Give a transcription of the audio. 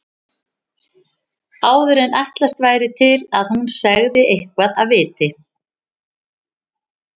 Áður en ætlast væri til að hún segði eitthvað af viti.